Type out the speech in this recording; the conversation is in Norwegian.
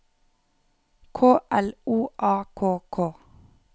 K L O A K K